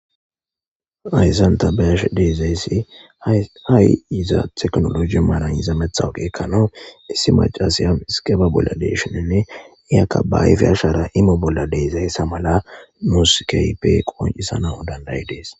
Hayssan ta be'isha dizaysi ha' i tekinolojin yiza matawaqa ekanaw issi Mac'asiya iskepa bolla de'ishininne iyaka ba ayffe ashara imo bolla de'ishizayssa mala nus kehippe qonc'isanaw danda'ides.